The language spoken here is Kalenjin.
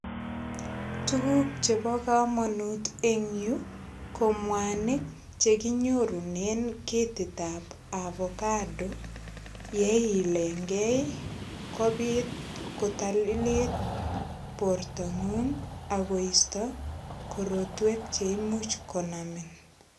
Tukuk chebo komonut eng yu ko mwanik chekinyorunen ketit ap ovacado yeilenkei kobit kotalilit bortongung ako isto korotwek cheimuch konamin.